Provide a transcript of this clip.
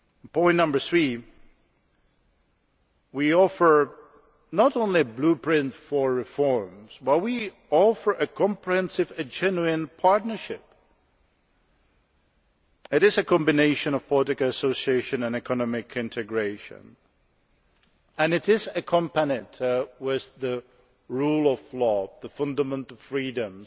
Point number three is that we offer not only a blueprint for reforms but also a comprehensive and genuine partnership. It is combination of political association and economic integration, and it is accompanied by the rule of law, the fundamental freedoms,